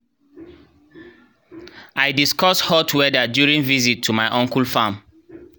i discuss hot weather during visit to my uncle farm